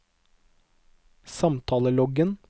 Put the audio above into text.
samtaleloggen